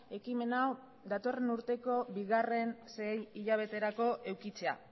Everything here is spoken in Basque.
ekimen hau datorren urteko bigarren sei hilabeterako edukitzea